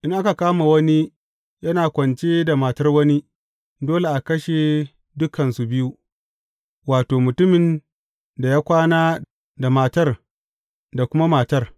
In aka kama wani yana kwance da matar wani, dole a kashe dukansu biyu, wato, mutumin da ya kwana da matar da kuma matar.